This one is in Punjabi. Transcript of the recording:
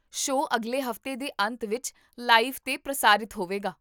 ਸ਼ੋਅ ਅਗਲੇ ਹਫ਼ਤੇ ਦੇ ਅੰਤ ਵਿੱਚ ਲਾਈਵ 'ਤੇ ਪ੍ਰਸਾਰਿਤ ਹੋਵੇਗਾ